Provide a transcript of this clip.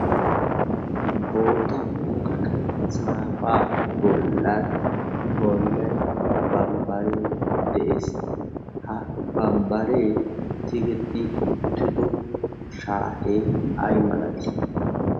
bootta muqeqe saafaa bollan boinai bambbaree de7ees ha bambbaree tigetti uttido shaatee ai malatiis